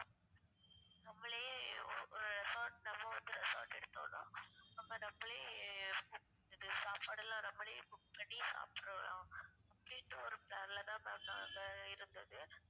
நம்மளே ஒரு resort நம்ம வந்து resort எடுத்தோம்னா நம்ம நம்மலே coo~ இது சாப்பாடுலாம் நம்மலே cook பண்ணி சாப்ட்ற அப்டின்ற ஒரு plan ல தான் ma'am நாங்க இருந்தது